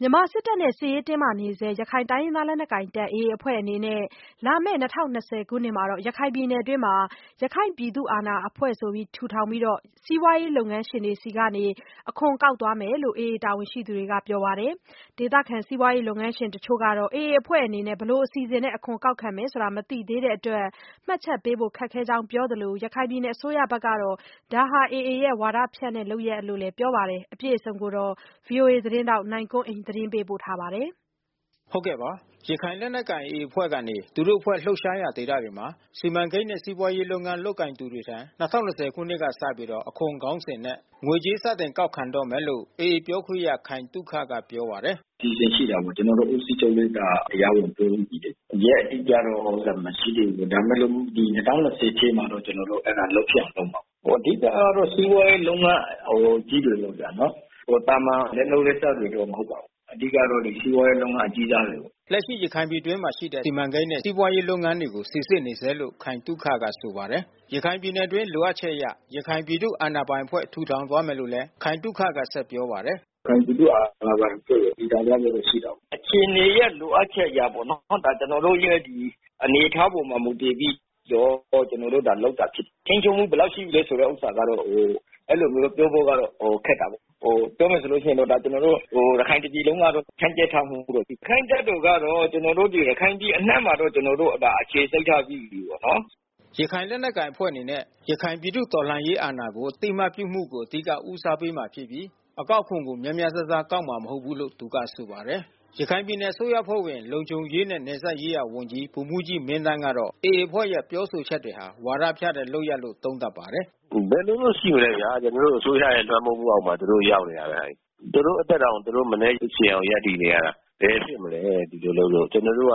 မြန်မာစစ်တပ်နဲ့ စစ်ရေးတင်းမာနေဆဲ ရခိုင်လက်နက်ကိုင် AA အဖွဲ့အနေနဲ့ လာမယ့် ၂၀၂၀ ခုနှစ်မှာ ရခိုင်ပြည်နယ်အတွင်း ရခိုင်ပြည်သူ့အာဏာပိုင်အဖွဲ့ ထူထောင်ပြီး စီးပွားရေးလုပ်ငန်းရှင်များထံ အခွန်ကောက်ခံသွားမယ်လို့ AA တာဝန်ရှိသူတွေက ပြောပါတယ်။ ဒေသခံ စီးပွားရေးလုပ်ငန်းရှင် တချို့ကတော့ AA အဖွဲ့အနေနဲ့ ဘယ်လိုအစီအစဉ်နဲ့ အခွန်ကောက်ခံမယ်ဆိုတာ မသိသေးတဲ့အတွက် မှတ်ချက်ပေးဖို့ ခက်ခဲကြောင်း ပြောဆိုသလို ရခိုင်ပြည်နယ် အစိုးရအဖွဲ့ကတော့ AA ရဲ့ ဝါဒဖြန့်မှု လုပ်ရပ်လို့လည်း ပြောဆိုပါတယ်။ အပြည့်အစုံကို ဗွီအိုအေ မြန်မာပိုင်းသတင်းထောက် နိုင်ကွန်းအိန် တင်ပြပေးထားပါတယ်။ ရခိုင်လက်နက်ကိုင် AA အဖွဲ့ကနေ သူတို့အဖွဲ့လှုပ်ရှားရာ ဒေသတွေမှာ စီမံကိန်းနဲ့ စီးပွားရေးလုပ်ငန်း လုပ်ကိုင်သူတွေထံ ၂၀၂၀ ခုနှစ်ကစပြီး အခွန်ခေါင်းစဉ်နဲ့ ငွေကြေး စတင်ကောက်ခံတော့မယ်လို့ AA ပြောခွင့်ရ ခိုင်သုခက ပြောပါတယ်။ “အစီအစဉ်ရှိတာပေါ့။ ကျနော်တို့ ဦးစီးချုပ်တို့က တရားဝင်ပြောပြီးပြီလေ။ ရက်အတိအကျတော့ မရှိသေးဘူး။ ဒါပေမယ့်လို့ ဒီ ၂၀၂၀ ပြည့်မှာတော့ ကျနော်တို့ အဲဒါကို လုပ်ဖြစ်အောင်လုပ်မယ်။ အဓိကကတော့ စီးပွားရေးလုပ်ငန်း အကြီးတွေပဲဗျနော်။ သာမန် လက်လုပ်လက်စားတွေတော့ မဟုတ်ပါဘူး။ အဓိကကတော့ စီးပွားရေးလုပ်ငန်း အကြီးစားတွေပါ။” လက်ရှိ ရခိုင်ပြည်တွင်းမှာရှိတဲ့ စီမံကိန်းနဲ့ စီးပွားရေးလုပ်ငန်းတွေကို စိစစ်နေဆဲလို့ ခိုင်သုခက ဆိုပါတယ်။ ရခိုင်ပြည်နယ်အတွင်း လိုအပ်ချက်အရ ရခိုင်ပြည်သူ့အာဏာပိုင်အဖွဲ့ ထူထောင်သွားမယ်လို့လည်း ခိုင်သုခက ဆက်ပြောပါတယ်။ “ရခိုင်ပြည်သူ့အာဏာပိုင်အဖွဲ့ ထူထောင်သွားဖို့တော့ ရှိတာပေါ့။ အခြေအနေရဲ့ လိုအပ်ချက်အရပေါ့နော်။ ကျနော်တို့ရဲ့ အနေအထားအပေါ် မူတည်ပြီးတော့ ကျနော်တို့လုပ်တာ ဖြစ်တယ်။ ထိန်းချုပ်မှု ဘယ်လောက်ရှိလဲ ဆိုတဲ့ဥစ္စာကတော့ အဲဒီလိုမျိုး ပြောဖို့ကတော့ ခက်တာပေါ့။ ပြောမယ်ဆိုလို့ရှိရင်တော့ ကျနော်တို့ ရခိုင်တပြည်လုံးကတော့ ဖြန့်ကြက်ထားမှုတော့ ရှိတယ်။ ရခိုင့်တပ်တော်ကတော့ ကျနော်တို့ ရခိုင်ပြည်အနှံ့မှာတော့ ကျနော်တို့ အခြေစိုက်ထားပြီးပြီပေါ့နော်။” ရခိုင်လက်နက်ကိုင်အဖွဲ့အနေနဲ့ ရခိုင်ပြည်သူ့တော်လှန်ရေးအာဏာကို အသိအမှတ်ပြုမှုကို အဓိက ဦးစားပေးမှာဖြစ်ပြီး အကောက်ခွန်ကို များများစားစား ကောက်မှာမဟုတ်ဘူးလို့ သူကဆိုပါတယ်။ ရခိုင်ပြည်နယ် အစိုးရအဖွဲ့ဝင် လုံခြုံရေးနဲ့ နယ်စပ်ရေးရာဝန်ကြီး ဗိုလ်မှူးကြီး မင်းသန်းကတော့ AA အဖွဲ့ရဲ့ ပြောဆိုချက်တွေဟာ ဝါဒဖြန့်တဲ့လုပ်ရပ်လို့ သုံးသပ်ပါတယ်။ “ဘယ်လိုတော့ရှိမလဲဗျာ။ ကျနော်တို့အစိုးရရဲ့ လွှမ်းမိုးမှုအောက်မှာ သူတို့ရောက်နေတာပဲ။ သူတို့အသက်တောင် သူတို့ရှင်အောင် မနည်း ရပ်တည်နေရတယ်။ ဘယ်ဖြစ်မလဲ ဒီလိုလုပ်လို့။ ကျနော်တို့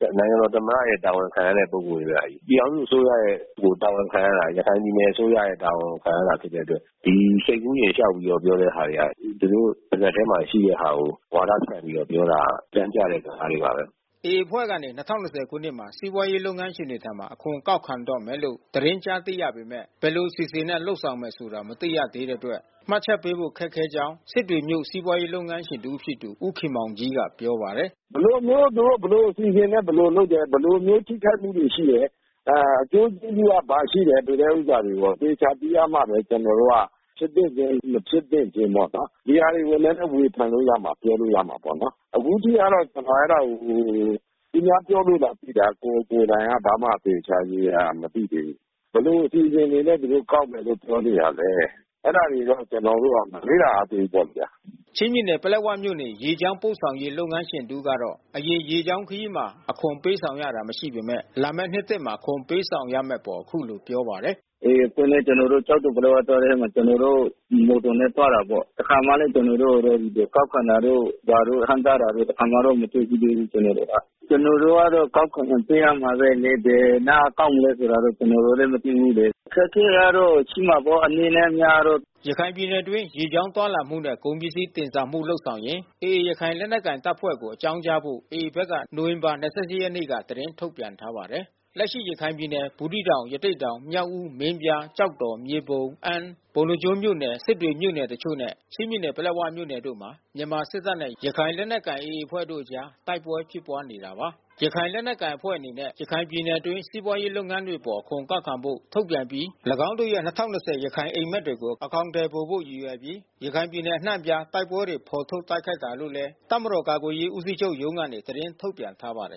က နိုင်ငံတော်သမ္မတရဲ့ တာဝန်ခံရတဲ့ ပုဂ္ဂိုလ်တွေဗျ။ ပြည်ထောင်အစိုးရရဲ့ တာဝန်ခံရတာ။ ရခိုင်ပြည်နယ်အစိုးရရဲ့ တာဝန်ခံရတာ ဖြစ်တဲ့အတွက် ဒီစိတ်ကူးယဉ် လျှောက်ပြောတဲ့ ဥစ္စာတွေဟာ သူတို့ပါးစပ်ထဲမှာ ရှိတဲ့ဟာတွေကို ဝါဒဖြန့်ပြီး ပြောတဲ့ဟာ အသံပြတဲ့ဟာတွေပါပဲ။” AA အဖွဲ့ကနေ ၂၀၂၀ ခုနှစ်မှာ စီးပွားရေးလုပ်ငန်းရှင်တွေထံ အခွန်ကောက်ခံတော့မယ်လို့ သတင်းကြားသိရပေမယ့် ဘယ်လိုအစီအစဉ်နဲ့ လုပ်ဆောင်မယ်ဆိုတာ မသိသေးတဲ့အတွက် မှတ်ချက်ပေးဖို့ ခက်ခဲကြောင်း စစ်တွေမြို့ စီးပွားရေးလုပ်ငန်းရှင်တဦးဖြစ်သူ ဦးခင်မောင်ကြီးက ပြောပါတယ်။ “ဘယ်လိုမျိုး သူတို့ ဘယ်လိုအစီအစဉ်နဲ့ သူတို့လုပ်တယ်။ ဘယ်လိုမျိုး ထိခိုက်မှုတွေရှိတယ်။ အကျိုးကျေးဇူးက ဘာရှိတယ် ဆိုတဲ့ဥစ္စာတွေကို အသေအချာသိရမှ ကျနော်တို့က ဖြစ်သင့်ခြင်း မဖြစ်သင့်ခြင်းပေါ့နော်။ ဒီဟာတွေ နည်းနည်းဝေဖန်လို့ရမှာ ပြောလို့ရမှာပေါ့နော်။ အခုထိကတော့ ကျနော် အဲဒါကို သူများပြောလို့သာ သိတာ။ ကိုယ်ကိုယ်တိုင်က ဘာမှ သေသေချာချာ ရေရေရာရာ မသိသေးဘူး။ ဘယ်လိုအစီအစဉ်နဲ့ သူတို့ကောက်မယ်လို့ ပြောနေတာလဲ။ အဲဒါတွေတော့ ကျနော်တို့ မလေ့လာရသေးဘူး။” ချင်းပြည်နယ် ပလက်ဝမြို့နေ ရေကြောင်းပို့ဆောင်ရေး လုပ်ငန်းရှင်တဦးကတော့ အရင်က ရေကြောင်းခရီးမှာ အခွန်ပေးဆောင်ရတာ မရှိပေမယ့် လာမယ့်နှစ်သစ်မှာ အခွန်ပေးဆောင်ရမယ့်အပေါ် အခုလိုပြောပါတယ်။ “AA အဖွဲ့နဲ့ ကျနော်တို့ ကျောက်တော်-ပလက်၀ သွားတဲ့နေ့မှာ ကျနော်တို့ ဒီမော်တော်နဲ့ သွားတာပေါ့။ တခါမှလည်း ကျနော်တို့ကို ဒီကောက်ခံတာတို့ ဘာတို့ ဟန့်တားတာတို့ တခါမှတော့ မတွေ့ဖူးသေးဘူး ကျနော်တို့။ ကျနော်တို့က အကောက်ခွန်ကို ပေးရမှာပဲ။ ဒါပေမယ့်လည်း ဘယ်နားကကောက်မလဲ ကျနော်တို့လည်း မသိဘူးလေ။ အခက်အခဲကတော့ ရှိမှာပေါ့ အနည်းနဲ့အများတော့။” ရခိုင်ပြည်နယ်အတွင်း ရေကြောင်းခရီးသွားလာမှုနဲ့ ကုန်ပစ္စည်းတင်ဆောင်မှု လုပ်ဆောင်ရင် AA ရခိုင်လက်နက်ကိုင်တပ်ဖွဲ့ကို အကြောင်းကြားဖို့ AA ဘက်က နိုဝင်ဘာ ၂၈ ရက်နေ့က သတင်းထုတ်ပြန်ထားပါတယ်။ လက်ရှိ ရခိုင်ပြည်နယ် ဘူးသီးတောင်၊ ရသေ့တောင်၊ မြောက်ဦး၊ မင်းပြား၊ ကျောက်တော်၊ မြေပုံ၊ အမ်း၊ ပုဏ္ဏားကျွန်းမြို့နယ်၊ စစ်တွေမြို့နယ်တချို့နဲ့ ချင်းပြည်နယ် ပလက်ဝမြို့နယ်တို့မှာ မြန်မာစစ်တပ်နဲ့ ရခိုင်လက်နက်ကိုင် AA အဖွဲ့တို့အကြား တိုက်ပွဲဖြစ်ပွားနေတာပါ။ AA ရခိုင်လက်နက်ကိုင်အဖွဲ့ အနေနဲ့ ရခိုင်ပြည်နယ်အတွင်း စီးပွားရေး လုပ်ငန်းတွေအပေါ် အခွန်ကောက်ခံဖို့ ထုတ်ပြန်အပြီး ၎င်းတို့ရဲ့ ၂၀၂၀ ရခိုင်အိပ်မက်တွေကို အကောင်အထည်ဖော်ဖို့ ရည်ရွယ်ပြီး ရခိုင်ပြည်နယ် အနှံ့အပြား တိုက်ပွဲတွေ ဖော်ထုတ်တိုက်ခိုက်တာလို့လည်း တပ်မတော် ကာကွယ်ရေးဦးစီးချုပ်ရုံးကနေ သတင်းထုတ်ပြန်ထားပါတယ်